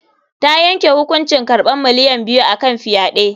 Ta yanke hukuncin karɓan miliyan biyu a kan fyaɗe.